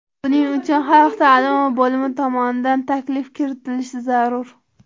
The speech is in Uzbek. Buning uchun xalq ta’limi bo‘limi tomonidan taklif kiritilishi zarur.